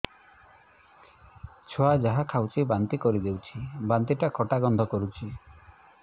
ଛୁଆ ଯାହା ଖାଉଛି ବାନ୍ତି କରିଦଉଛି ବାନ୍ତି ଟା ଖଟା ଗନ୍ଧ କରୁଛି